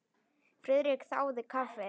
Friðrik þáði kaffi.